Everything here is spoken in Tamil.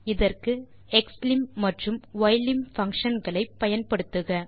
இதற்கு xlim மற்றும் ylim functionகளை பயன்படுத்துக